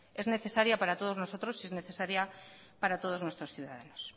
es necesaria para todos nosotros y es necesaria para todos nuestros ciudadanos